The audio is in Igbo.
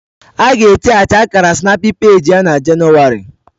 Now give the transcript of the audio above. A ga etinyeachi Akara snapypage ya na Jenụwarị